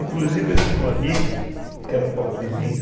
Inclusive eu tinha um amigo que era pobrezinho.